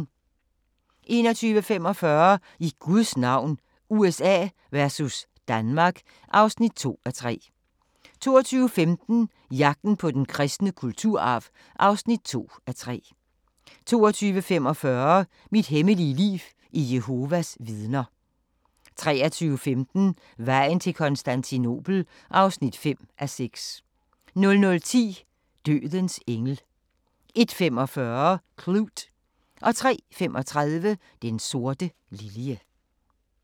21:45: I Guds navn – USA versus Danmark (2:3) 22:15: Jagten på den kristne kulturarv (2:3) 22:45: Mit hemmelige liv i Jehovas Vidner 23:15: Vejen til Konstantinopel (5:6) 00:10: Dødens engel 01:45: Klute 03:35: Den sorte lilje